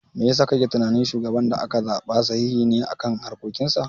Me yasa kake tunani shugaban da aka zaɓa sahihi ne a harkokin sa?